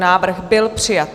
Návrh byl přijat.